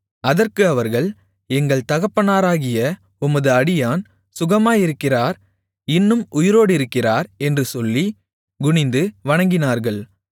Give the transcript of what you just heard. அதற்கு அவர்கள் எங்கள் தகப்பனாராகிய உமது அடியான் சுகமாயிருக்கிறார் இன்னும் உயிரோடிருக்கிறார் என்று சொல்லி குனிந்து வணங்கினார்கள்